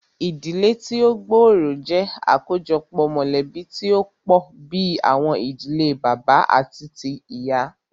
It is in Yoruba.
Ìdílé tí o gbóòrò jẹ́ àkójọpọ̀ mọ̀lẹ̀bí tí o pọ̀ bìí àwọn ìdílé bàbá àti tíì ìyá.